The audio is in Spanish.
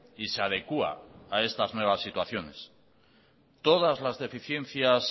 y se adecua a estas nuevas situaciones todas las deficiencias